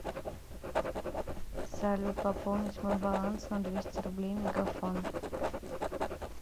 салют пополнить мой баланс на двести рублей мегафон